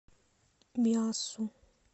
миассу